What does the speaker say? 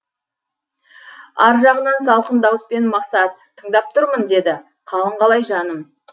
ар жағынан салқын дауыспен мақсат тыңдап тұрмын деді қалың қалай жаным